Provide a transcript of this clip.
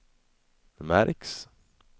märks